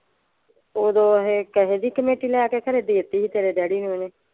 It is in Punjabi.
ਉਦੋਂ ਅਖੇ ਕਿਸੇ ਦੀ ਕਮੇਟੀ ਲਿਆ ਕੇ ਖ਼ਰੇ ਦੇ ਤੀ ਸੀ ਤੇਰੇ ਡੈਡੀ ਨੂੰ ਇਹਨੇ।